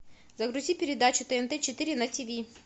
загрузи передачу тнт четыре на тв